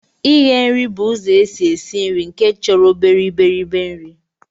Ighe bụ ụzọ esi esi nri nke chọrọ obere iberibe nri